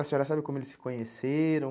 A senhora sabe como eles se conheceram?